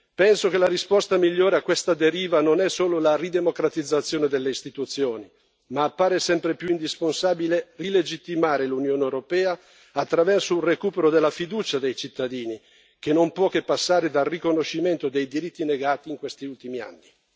Penso che la risposta migliore a questa deriva non sia solo la ridemocratizzazione delle istituzioni ma appare sempre più indispensabile rilegittimare l'Unione europea, attraverso un recupero della fiducia dei cittadini, che non può che passare dal riconoscimento dei diritti negati in questi ultimi anni.